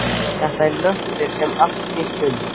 Þetta var hnötturinn sem allt snýst um.